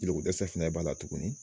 Jolidɛsɛ fana b'a la tuguni.